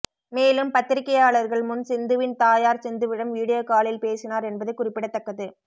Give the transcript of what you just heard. மேலும் பத்திரிகையாளர்கள் முன் சிந்துவின் தாயார் சிந்துவிடம் வீடியோ காலில் பேசினார் என்பது குறிப்பிடத்தக்கது